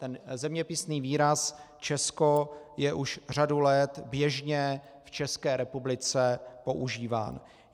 Ten zeměpisný výraz Česko je už řadu let běžně v České republice používán.